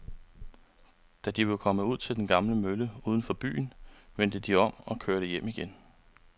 Da de var kommet ud til den gamle mølle uden for byen, vendte de om og kørte hjem igen.